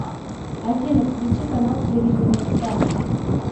афина включи канал телевидения спас